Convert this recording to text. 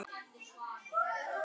Alexis, hringdu í Jósep.